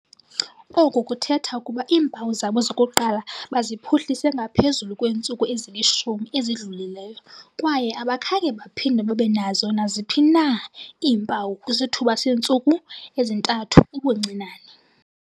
Oku kuthetha ukuba iimpawu zabo zokuqala baziphuhlise ngaphezulu kweentsuku ezili-10 ezidlulileyo kwaye abakhange baphinde babe nazo naziphi na iimpawu kwisithuba seentsuku ezintathu ubuncinane.